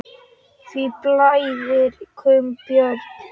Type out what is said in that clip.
Hví blæðir kúm, Björn?